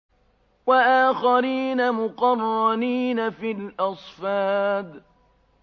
وَآخَرِينَ مُقَرَّنِينَ فِي الْأَصْفَادِ